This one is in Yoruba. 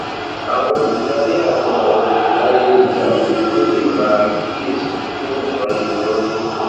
àwọn olùdarí àti àwọn olùdarí hr tún lè máa kíyè sí bí nǹkan ṣe ń rí